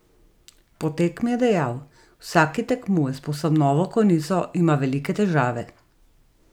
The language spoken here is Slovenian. Po tekmi je dejal: "Vsak, ki tekmuje s povsem novo konico, ima velike težave.